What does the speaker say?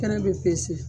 Kɛnɛ bɛ